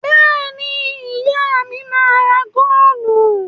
Bẹ́ẹ̀ ni, ìyá mi máa ń ra góólù.